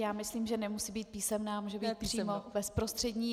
Já myslím, že nemusí být písemná, může být přímo bezprostřední.